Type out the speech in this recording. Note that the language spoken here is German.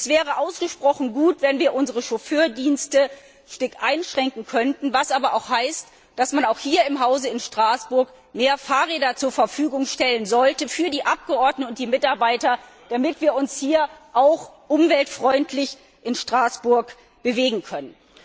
Es wäre ausgesprochen gut, wenn wir unsere Chauffeurdienste stark einschränken könnten, was aber auch heißt, dass man auch hier im Hause in Straßburg mehr Fahrräder zur Verfügung stellen sollte für die Abgeordneten und die Mitarbeiter, damit wir uns hier auch umweltfreundlich in Straßburg bewegen können.